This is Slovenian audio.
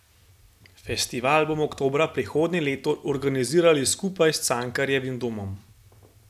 Festival bomo oktobra prihodnje leto organizirali skupaj s Cankarjevim domom.